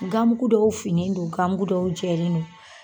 gamugu dɔw finen don, gamugu dɔw jɛlen no.